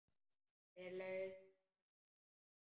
Hver laug þessu að þér?